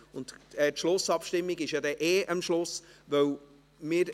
Die Schlussabstimmung findet dann ohnehin am Schluss der Session statt.